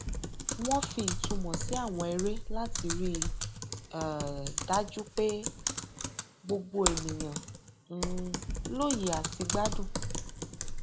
wọn fi ìtumọ sí àwọn eré láti rí um dájú pé gbogbo ènìyàn um lóye àti gbádùn